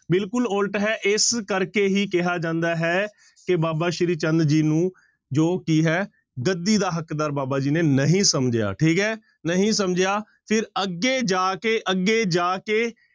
ਬਿਲਕੁਲ ਉੱਲਟ ਹੈ ਇਸ ਕਰਕੇ ਹੀ ਕਿਹਾ ਜਾਂਦਾ ਹੈ ਕਿ ਬਾਬਾ ਸ੍ਰੀ ਚੰਦ ਜੀ ਨੂੰ ਜੋ ਕੀ ਹੈ ਗੱਦੀ ਦਾ ਹੱਕਦਾਰ ਬਾਬਾ ਜੀ ਨੇ ਨਹੀਂ ਸਮਝਿਆ, ਠੀਕ ਹੈ ਨਹੀਂ ਸਮਝਿਆ ਫਿਰ ਅੱਗੇ ਜਾ ਕੇ ਅੱਗੇ ਜਾ ਕੇ